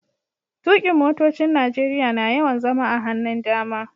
Tukin' motocin Nijeriya na yawan zama a hannun dama.